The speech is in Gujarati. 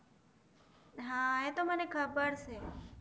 હા એતો મને ખબર છે